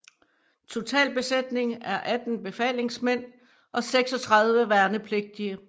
Total besætning er 18 befalingsmænd og 36 værnepligtige